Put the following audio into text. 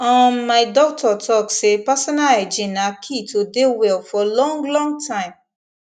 um my doctor talk say personal hygiene na key to dey well for long long time